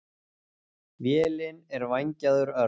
Vélin er vængjaður örn.